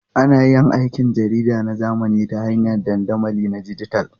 Ana yin aikin jarida na zamani ta hanyar dandamali na dijital.